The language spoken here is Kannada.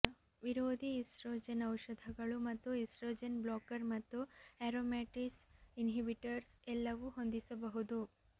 ವಿರೋಧಿ ಈಸ್ಟ್ರೊಜೆನ್ ಔಷಧಗಳು ಮತ್ತು ಈಸ್ಟ್ರೊಜೆನ್ ಬ್ಲಾಕರ್ ಮತ್ತು ಆರೋಮ್ಯಟೇಸ್ ಇನ್ಹಿಬಿಟರ್ಸ್ ಎಲ್ಲವೂ ಹೊಂದಿಸಬಹುದು